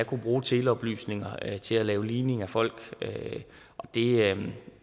kunne bruge teleoplysninger til at ligne folk er jeg